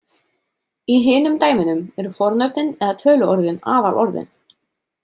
Í hinum dæmunum eru fornöfnin eða töluorðin aðalorðin.